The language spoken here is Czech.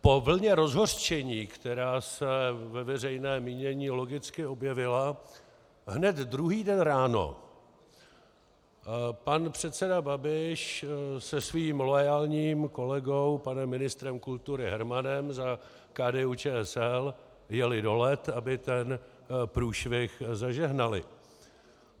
Po vlně rozhořčení, která se ve veřejném mínění logicky objevila, hned druhý den ráno pan předseda Babiš se svým loajálním kolegou panem ministrem kultury Hermanem za KDU-ČSL jeli do Let, aby ten průšvih zažehnali.